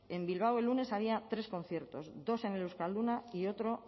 en bilbao el lunes había tres conciertos dos en el euskalduna y otro